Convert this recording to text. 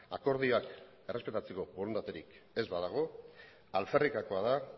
akordioak errespetatzeko borondaterik ez badago alferrikakoa da